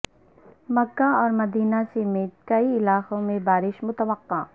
مکہ اور مدینہ سمیت کئی علاقوں میں بارش متوقع